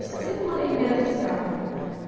Eu sempre morei em beira de estrada.